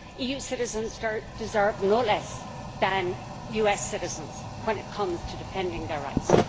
EU citizens deserve no less than US citizens when it comes to defending their rights.